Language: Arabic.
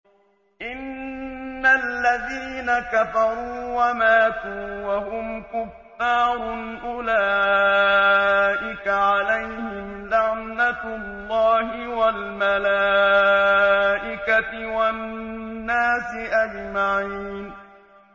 إِنَّ الَّذِينَ كَفَرُوا وَمَاتُوا وَهُمْ كُفَّارٌ أُولَٰئِكَ عَلَيْهِمْ لَعْنَةُ اللَّهِ وَالْمَلَائِكَةِ وَالنَّاسِ أَجْمَعِينَ